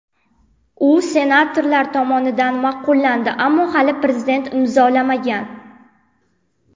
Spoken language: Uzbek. U senatorlar tomonidan ma’qullandi, ammo hali Prezident imzolamagan.